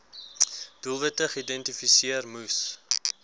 doelwitte geïdentifiseer moes